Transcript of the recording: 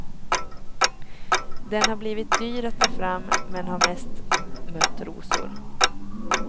Den har blivit dyr att ta fram, men har mest mött rosor.